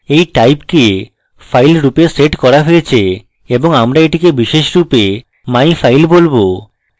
এই type কে file রূপে set করা হয়েছে এবং আমরা এটিকে বিশেষরূপে myfile বলবো